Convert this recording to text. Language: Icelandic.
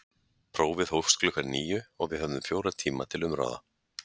Prófið hófst klukkan níu og við höfðum fjóra tíma til umráða.